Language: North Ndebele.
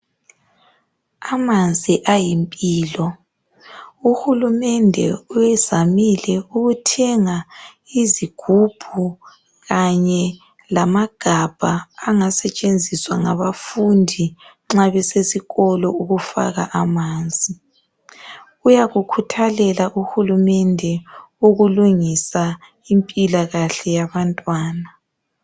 Amanzi ayimpilo, UHulumende uzamile ukuthenga izigubhu kanye lamagabha angasetshenziswa ngabafundi nxa besesikolo ukufaka amanzi. Uyakukhuthalela UHulumende ukulungisa impilakahle yabantwana.